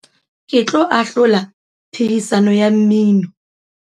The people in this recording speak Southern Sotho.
ke tlo ahlola phehisano ya mmino